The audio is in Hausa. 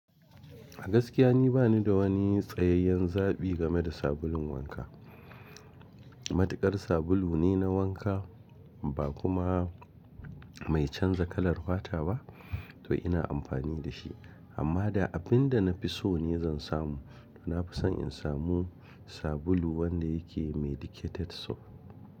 Gaskiya ni bani da wani tsayayyen zaɓi game da sabulun wanka. Matuƙar sabulu ne na wanka ba kuma mai canza kalar fata ba, to ina amfani da shi. Amma da abin da na fi so ne zan samu, to na fi son in samu sabulu wanda yake medicated soap.